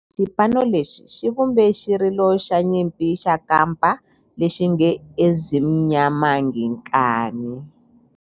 Xipano lexi xi vumbe xirilo xa nyimpi xa kampa lexi nge 'Ezimnyama Ngenkani'.